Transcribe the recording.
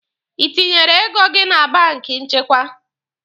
Ị tinyere ego gị na banki nchekwa?